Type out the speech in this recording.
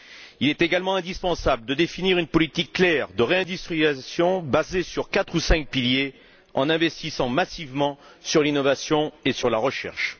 Il est également indispensable de définir une politique claire de réindustrialisation basée sur quatre ou cinq piliers, en investissement massivement dans l'innovation et dans la recherche.